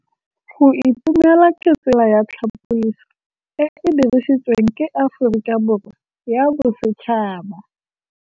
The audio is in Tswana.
Go itumela ke tsela ya tlhapolisô e e dirisitsweng ke Aforika Borwa ya Bosetšhaba.